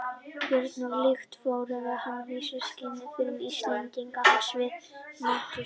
Björn varð, líkt og forveri hans Vísi-Gísli, fyrirmynd Íslendinga á sviði matjurtaræktar á sinni tíð.